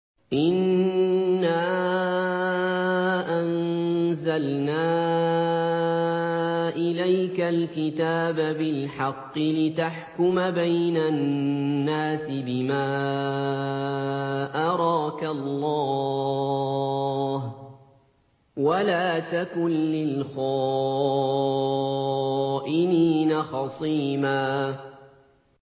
إِنَّا أَنزَلْنَا إِلَيْكَ الْكِتَابَ بِالْحَقِّ لِتَحْكُمَ بَيْنَ النَّاسِ بِمَا أَرَاكَ اللَّهُ ۚ وَلَا تَكُن لِّلْخَائِنِينَ خَصِيمًا